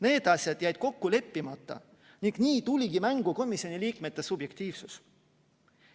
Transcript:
Need asjad jäid kokku leppimata ning nii tuligi mängu komisjoni liikmete subjektiivsus.